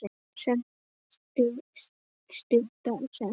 sem má stytta sem